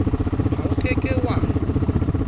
ha o ke ke wa